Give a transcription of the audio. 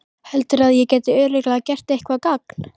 Heldurðu að ég geti örugglega gert eitthvert gagn?